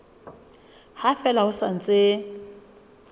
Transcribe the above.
ha fela ho sa ntse